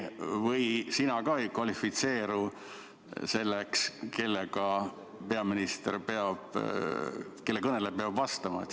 Või sina ka ei kvalifitseeru selleks, kelle kõnele peaminister peab vastama?